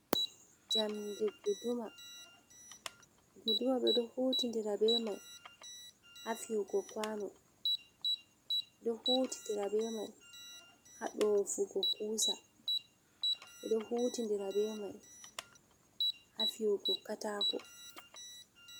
Njamdi guduma, guduma ɓeɗo hutidira be mai ha fiyugo kuwano, ɓeɗo hutidira be mai ha ɗofugo kusa, ɓeɗo hutidira be mai ha fiwugo katako.